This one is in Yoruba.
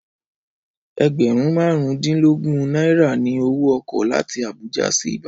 Ẹgbẹ̀rún marun dínlógún náírà ni owó ọkọ̀ láti Abuja sí Ìbàdàn